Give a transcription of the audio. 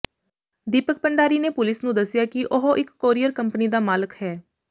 ਦੀਪਕ ਭੰਡਾਰੀ ਨੇ ਪੁਲਿਸ ਨੂੰ ਦੱਸਿਆ ਕਿ ਉਹ ਇਕ ਕੋਰੀਅਰ ਕੰਪਨੀ ਦਾ ਮਾਲਕ ਹੈ